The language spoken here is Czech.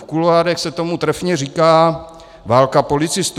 V kuloárech se tomu trefně říká válka policistů.